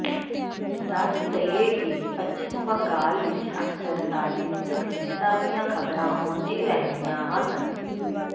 ਦੱਸ ਦਈਏ ਕਿ ਪੱਛਮ ਬੰਗਾਲ ਵਿਚ ਅਕਸਰ ਰਾਜਨੀਤਕ ਹਿੰਸਾ ਦੀਆਂ ਖਬਰਾਂ ਆਉਂਦੀ ਰਹਿੰਦੀਆਂ ਹਨ